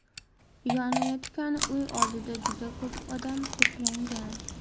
Yonayotgan uy oldida juda ko‘p odam to‘plangan.